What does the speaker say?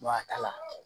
Wa a kala